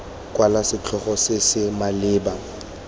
kwala setlhogo se se maleba